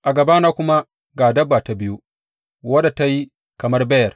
A gabana kuma ga dabba ta biyu, wadda ta yi kamar beyar.